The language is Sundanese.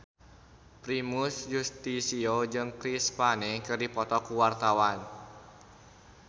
Primus Yustisio jeung Chris Pane keur dipoto ku wartawan